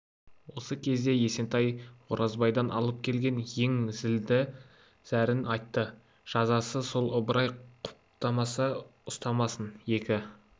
осы кезде есентай оразбайдан алып келген ең зілді зәрін айтты жазасы сол ыбырай құптамаса ұстамасын екі